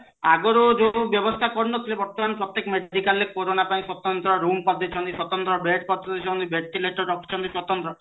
ଆଗରୁ ଯୋଉ ବେବସ୍ତା କରିନଥିଲେ ବର୍ତମାନ medical ରେ କୋରୋନା ପାଇଁ ସ୍ଵତନ୍ତ୍ର ରୁମ କରି ଦେଇଛନ୍ତି ସ୍ଵତନ୍ତ୍ର bed କରିଦେଇଛନ୍ତି ventilator ରଖିଛନ୍ତି ସ୍ଵତନ୍ତ୍ର